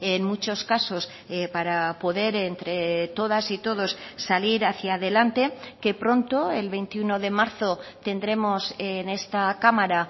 en muchos casos para poder entre todas y todos salir hacia adelante que pronto el veintiuno de marzo tendremos en esta cámara